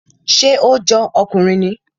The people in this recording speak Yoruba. Ṣé ó jọ ọkùnrin ni?